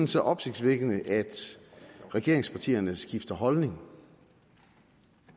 så opsigtsvækkende at regeringspartierne skifter holdning